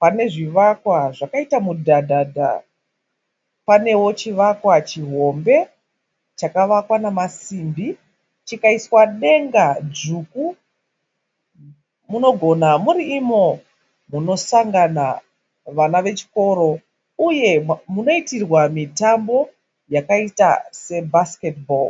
pane zvivakwa zvakaita mudhadhadha. Panewo chivakwa chihombe chakavakwa nemasimbi chikaiswa denga dzvuku. Munogona muri imo munosangana vana vechikoro uye munoitirwa mitambo yakaita sebhasiketi bho.